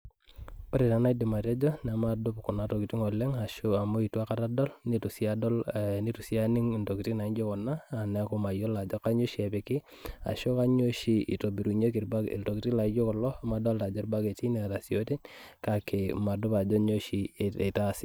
Ore taa enaidim atejo, nemadup kuna tokiting oleng, ashu amu itu aikata adol, nitu si adol eh nitu si aning intokiting naijo kuna, neeku mayiolo ajo kanyioo oshi epiki, ashu kanyioo oshi itobirunyeki iltokiting laijo kulo, amu adolta ajo irbaketi neeta si isioten, kake madup ajo nyoo oshi itaasi.